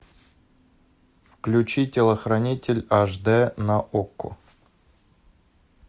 включи телохранитель аш дэ на окко